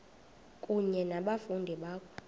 kunye nabafundi bakho